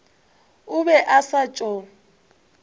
o be a sa tšo